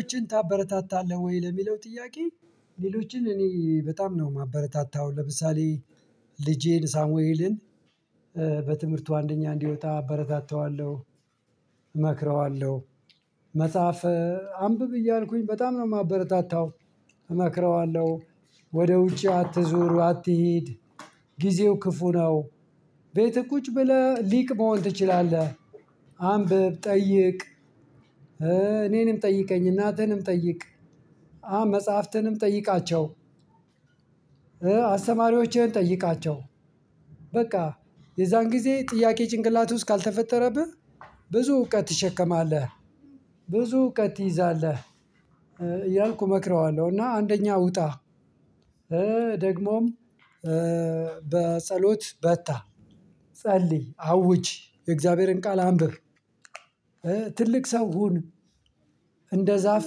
ሌሎችን ታበረታታለህ ወይ ለሚለው ጥያቄ? ሌሎችን እኔ በጣም ነው ማበረታታው ለምሳሌ ልጄን ሳሙየልን በትምህርቱ አንደኛ እንዲወጣ አበረታታዋለሁ። እመክረዋለሁ መጽሐፍ አንብብ እያልኩኝ በጣም ነው ማበረታታው። እመክረዋለሁ ወደ ውጪ አትዞሩ አትሂድ። ጊዜው ክፉ ነው ቤትህ ቁጭ ብለህ ሊቅ መሆን ትችላለህ አንብብ ጠይቅ። እኔንም ጠይቀኝ እናትህንም ጠይቅ። መጽሐፍትንም ጠይቃቸው። አስተማሪዎችህን ጠይቃቸው። በቃ የዛን ጊዜ ጥያቄ ጭንቅላት ውስጥ ካልተፈጠረብህ ብዙ እውቀት ትሸከማለህ። ብዙ እውቀት ትይዛለህ እያልኩ እመክረዋለሁ እና አንደኛ ውጣ። ደግሞም በጸሎት በርታ። ጸልይ አውጅ የእግዚአብሔርን ቃል አንብብ። ትልቅ ሰው ሁን። እንደ ዛፍ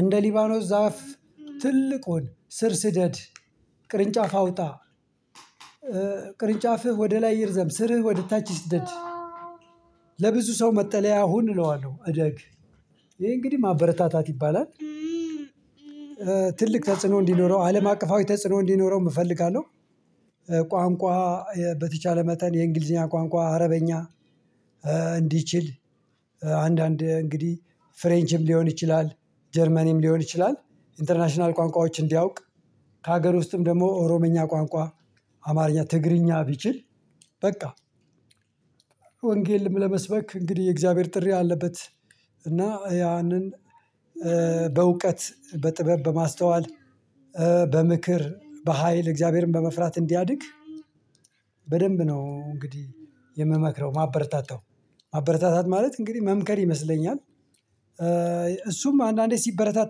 እንደ ሊባኖስ ዛፍ ትልቁን ስር ስደድ ቅርንጫፍ አውጣ። ቅርንጫፍህ ወደ ላይ ይርዘም ስርህ ወደ ታች ይስደድ። ለብዙ ሰው መጠለያ ሁን እለዋለሁ እደግ። ይሄ እንግዲህ ማበረታታት ይባላል። ትልቅ ተጽዕኖ እንዲኖረው አለም አቀፋዊ ተጽዕኖ እንዲኖረውም እፈልጋለሁ። ቋንቋ በተቻለ መጠን የእንግሊዝኛ ቋንቋ አረበኛ። እንዲችል አንዳንድ እንግዲህ ፍሬንቺም ሊሆን ይችላል ጀርመንም ሊሆን ይችላል ኢንተርናሽናል ቋንቋዎች እንዲያውቅ። ከሀገር ውስጥም ደግሞ ኦሮምኛ ቋንቋ አማርኛ ትግርኛ ቢችል በቃ። ወንጌልም ለመስበክ እንግዲህ የእግዚአብሔር ጥሪ አለበት። እና ያንን በእውቀት በጥበብ በማስተዋል በምክር በሃይል እግዚአብሔርን በመፍራት እንዲያድግ። በደንብ ነው እንግዲህ የምመክረው ማበረታታው ማበረታታት ማለት እንግዲህ መምከር ይመስለኛል። እሱም አንዳንዴ ሲበረታ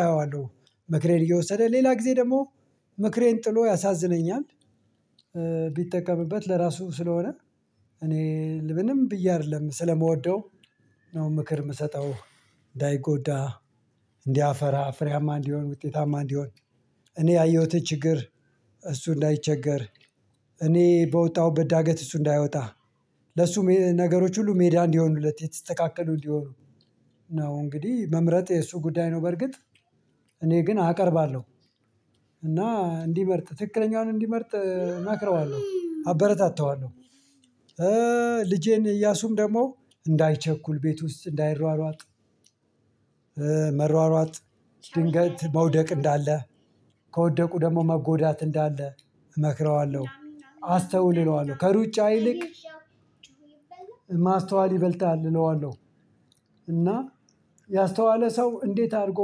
አየዋለሁ ምክሬን እየወሰደ ሌላ ጊዜ ደግሞ ምክሬን ጥሎ ያሳዝነኛል። ቢጠቀምበት ለራሱ ስለሆነ እኔ ምንም ብዬ አይደለም ስለምወደው ነው ምክር የምሰጠው። እንዳይጎዳ እንዲያፈራ ፍሬም እንዲሆን ውጤታማ እንዲሆን። እኔ ያየሁት ችግር እሱ እንዳይቸገር እኔ በወጣሁበት ዳገት እሱ እንዳይወጣ። ለሱ ነገሮች ሁሉ ሜዳ እንዲሆኑለት የተስተካከሉ እንዲሆኑ። ነው እንግዲህ መምረጥ የሱ ጉዳይ ነው። በርግጥ እኔ ግን አቀርባለሁ እና እንዲመርጥ ትክክለኛውን እንዲመርጥ እመክረዋለሁ አበረታታዋለሁ። ልጄን እያሱም ደግሞ እንዳይቸኩል ቤት ውስጥ እንዳይሯሯጥ። መሯሯጥ ድንገት መውደቅ እንዳለ ከወደቁ ደግሞ መጎዳት እንዳለ እመክረዋለሁ። አስተውል እለዋለሁ ከሩጫ ይልቅ ማስተዋል ይበልጣል እለዋለሁ። እና ያስተዋለ ሰው እንዴት አድርጎ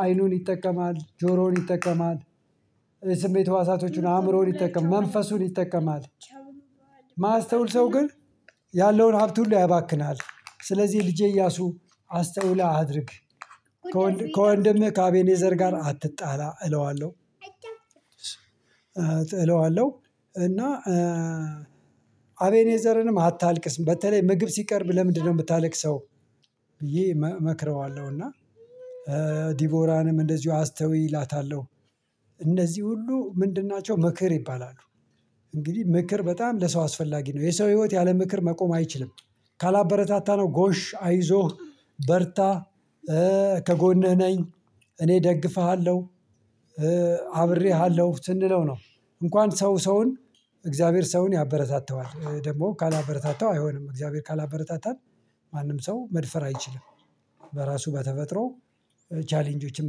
አይኑን ይጠቀማል ጆሮውን ይጠቀማል። ስሜት ህዋሳቶቹን አእምሮውን ይጠቀማል መንፈሱን ይጠቀማል። ማያስተውል ሰው ግን ያለውን ሀብት ሁሉ ያባክናል ስለዚህ ልጄ እያሱ አስተውለህ አድርግ። ከወንድምህ ከአቤኔዘር ጋር አትጣላ እለዋለሁ። እለዋለሁ እና አቤኔዘርንም አታልቅስ በተለይ ምግብ ሲቀርብ ለምንድነው የምታለቅሰው? ብዬ እመክረዋለሁ እና ዲቮራንም እንደዚሁ አስተውይ እላታለሁ። እነዚህ ሁሉ ምንድን ናቸው ምክር ይባላሉ። እንግዲህ ምክር በጣም ለሰው አስፈላጊ ነው የሰው ህይወት ያለ ምክር መቆም አይችልም። ካላበረታታነው ጎሽ አይዞህ በርታ ከጎንህ ነኝ እኔ እደግፍሃለሁ። አብሬሃለሁ ስንለው ነው። እንኳን ሰው ሰውን እግዚአብሔር ሰውን ያበረታታዋል ደግሞ ካላበረታታው አይሆንም እግዚአብሔር ካላበረታታን ማንም ሰው መድፈር አይችልም። በራሱ በተፈጥሮ ቻሌንጆችን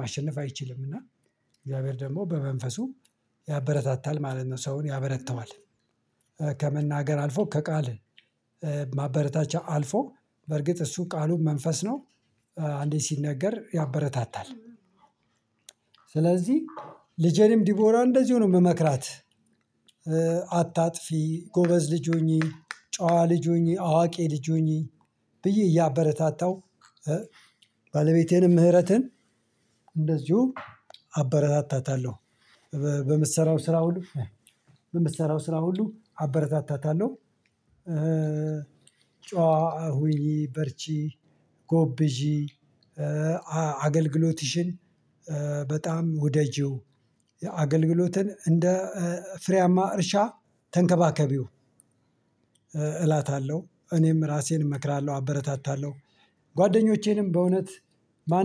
ማሸነፍ አይችልም። እና እግዚአብሔር ደግሞ በመንፈሱ ያበረታታል ማለት ነው ሰውን ያበረታዋል። ከመናገር አልፎ ከቃል ማበረታቻ አልፎ በርግጥ እሱ ቃሉን መንፈስ ነው አንዴ ሲነገር ያበረታታል። ስለዚህ ልጄንም ዲቦራን እንደዚሁ ነው የምመክራት። አታጥፊ ጎበዝ ልጅ ሁኝ ጭዋ ልጅ ሁኝ አዋቂ ልጅ ሁኝ ብዬ እያበረታታው። ባለቤቴንም ምህረትን እንደዚሁ አበረታታታለሁ በምትሰራው ስራ ሁሉ በምትሰራው ስራ ሁሉ አበረታታታለሁ። ጭዋ ሁኝ በርቺ ጎብዢ አገልግሎትሽን በጣም ውደጂው አገልግሎትን እንደ ፍሬያማ እርሻ ተንከባከቢው። እላታለሁ እኔም ራሴን እመክራለሁ አበረታታለሁ። ጓደኞቼንም በእውነት በአንድ